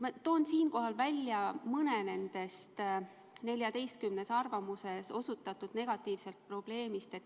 Ma toon siinkohal välja mõne nendest 14 arvamuses osutatud probleemist.